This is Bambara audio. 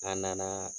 An nana